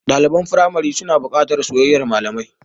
Ɗaliban firamari suna buƙatar soyayyar malami.